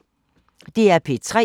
DR P3